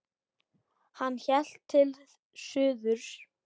Hann hélt til suðurs.